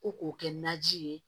Ko k'o kɛ naji ye